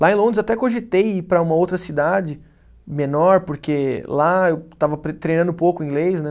Lá em Londres até cogitei ir para uma outra cidade menor, porque lá eu estava pre treinando pouco inglês, né?